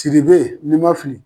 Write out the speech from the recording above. Tiribe ni ma fili